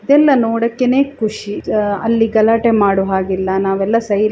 ಇದೆಲ್ಲ ನೋಡೊಕೆನೇ ಖುಷಿ ಆಹ್ ಅಲ್ಲಿ ಗಲಾಟೆ ಮಾಡೋ ಹಾಗಿಲ್ಲಾ ನಾವೆಲ್ಲಾ ಸೈಲೆ --